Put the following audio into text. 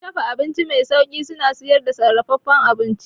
Wurin dafa abinci mai sauri suna sayar da sarrafafen abinci